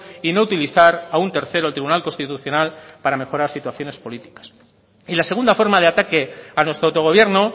y no utilizar a un tercero el tribunal constitucional para mejorar situaciones políticas y la segunda forma de ataque a nuestro auto gobierno